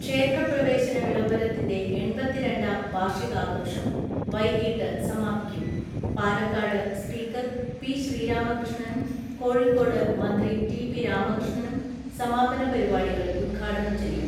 ക്ഷേത്രപ്രവേശന വിളംബരത്തിന്റെ എൺപത്തിരണ്ടാം വാർഷികാഘോഷം വൈകീട്ട് സമാപിക്കും പാലക്കാട്ട് സ്പീക്കർ പി ശ്രീരാമകൃഷ്ണനും കോഴിക്കോട്ട് മന്ത്രി ടി പി രാമകൃഷ്ണനും സമാപനപരി പാടികൾ ഉദ്ഘാടനം ചെയ്യും.